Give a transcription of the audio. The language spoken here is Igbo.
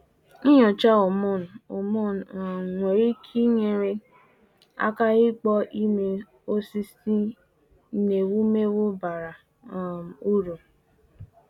Nnyocha hormone hormone um nwere ike nyere aka ịkpọ ime osisir n’ewumewụ bara um uru.